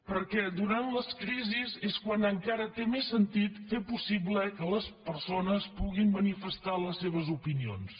perquè durant les crisis és quan encara té més sentit fer possible que les persones puguin manifestar les seves opinions